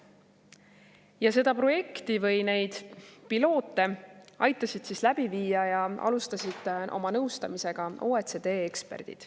Oma nõustamisega aitasid seda projekti või neid piloote alustada ja läbi viia OECD eksperdid.